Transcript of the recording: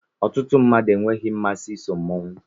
Ọtụtụ mmadụ enweghị mmasị iso mmọnwụ